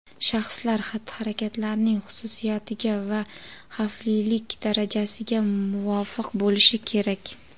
shaxslar xatti-harakatlarining xususiyatiga va xavflilik darajasiga muvofiq bo‘lishi kerak.